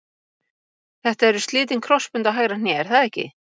Þetta eru slitin krossbönd á hægra hné er það ekki?